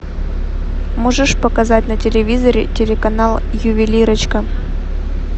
можешь показать на телевизоре телеканал ювелирочка